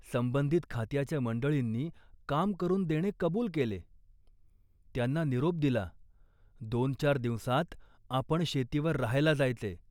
संबंधित खात्याच्या मंडळींनी काम करून देणे कबूल केले. त्यांना निरोप दिला, दोनचार दिवसांत आपण शेतीवर राहायला जायचे